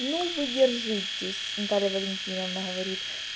ну вы держитесь наталья валентиновна говорит